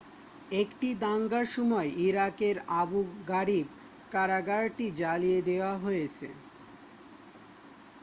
একটি দাঙ্গার সময় ইরাকের আবু গারিব কারাগারটি জ্বালিয়ে দেয়া হয়েছে